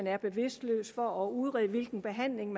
er bevidstløs for at udrede hvilken behandling